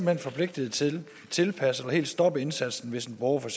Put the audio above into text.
hen forpligtede til at tilpasse eller helt stoppe indsatsen hvis en borger for